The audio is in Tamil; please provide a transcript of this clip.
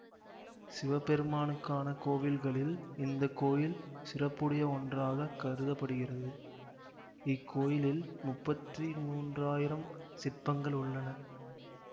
சிவபெருமானுக்கான கோவில்களில் இந்த கோயில் சிறப்புடைய ஒன்றாக கருத படுகிறது இக்கோயிலில் முப்பத்தி மூன்றாயிரம் சிற்பங்கள் உள்ளன